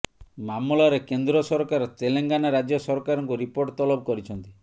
ମାମଲାରେ କେନ୍ଦ୍ର ସରକାର ତେଲେଙ୍ଗାନା ରାଜ୍ୟ ସରକାରଙ୍କୁ ରିପୋର୍ଟ ତଲବ କରିଛନ୍ତି